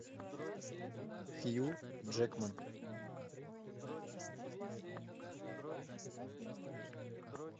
хью джекман